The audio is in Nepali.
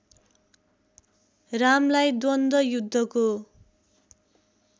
रामलाई द्वन्द्व युद्धको